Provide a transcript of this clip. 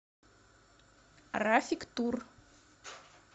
рафик тур